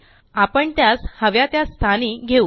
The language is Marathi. आपण त्यास हव्या त्या स्थानी घेवू